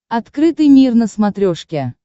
открытый мир на смотрешке